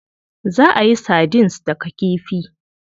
Za a yi sardines daga kifi.